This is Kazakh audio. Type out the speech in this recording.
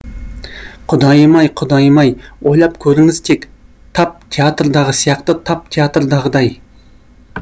құдайым ай құдайым ай ойлап көріңіз тек тап театрдағы сияқты тап театрдағыдай